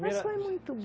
Primeira Mas foi muito